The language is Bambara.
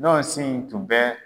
Ɲɔsin tun bɛ.